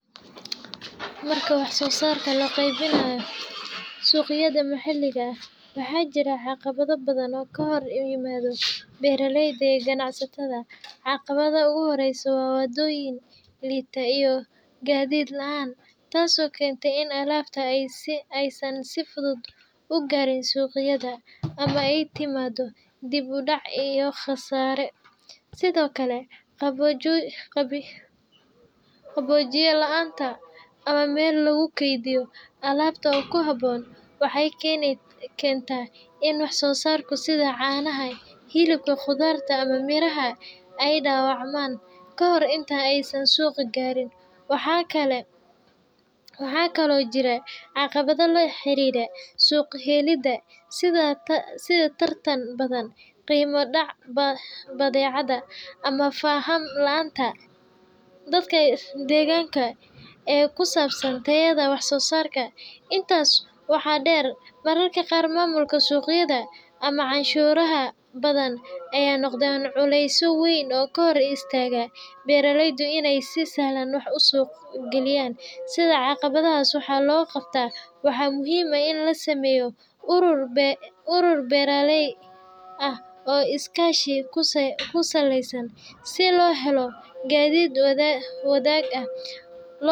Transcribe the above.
Marka wax-soo-saarka loo qaybiyo suuqyada maxalliga ah, waxaa jira caqabado badan oo ka hor yimaada beeraleyda iyo ganacsatada. Caqabadda ugu horreysa waa waddooyin liita iyo gaadiid la’aan, taasoo keenta in alaabta aysan si fudud u gaarin suuqyada, ama ay timaado dib u dhac iyo khasaare. Sidoo kale, qaboojiye la’aanta ama meel lagu kaydiyo alaabta oo ku habboon waxay keentaa in wax-soo-saarka sida caanaha, hilibka, khudaarta ama miraha ay dhaawacmaan kahor inta aysan suuqa gaarin. Waxaa kaloo jira caqabado la xiriira suuq-helidda, sida tartan badan, qiimo dhaca badeecada, ama faham la’aanta dadka deegaanka ee ku saabsan tayada wax-soo-saarka. Intaas waxaa dheer, mararka qaar maamulka suuqyada ama canshuuraha badan ayaa noqda culeys weyn oo ka hor istaaga beeraleyda inay si sahlan wax u suuq geeyaan. Si caqabadahaas wax looga qabto, waxaa muhiim ah in la sameeyo urur beeraley ah oo iskaashi ku saleysan, si loo helo gaadiid wadaag ah.